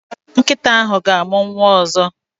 Nkịta ahụ ga-amụ nwa ọzọ.